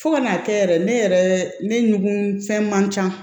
Fo ka n'a kɛ yɛrɛ ne yɛrɛ ne ɲugu fɛn man can